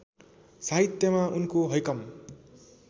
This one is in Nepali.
साहित्यमा उनको हैकम